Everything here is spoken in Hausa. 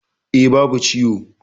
E. babu ciwo.